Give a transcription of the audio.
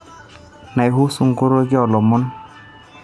naihusu nkoroki o lomon